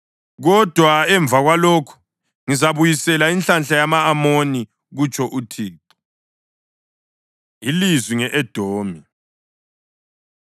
Kodwa emva kwalokho ngizabuyisela inhlanhla yama-Amoni,” kutsho uThixo. Ilizwi Nge-Edomi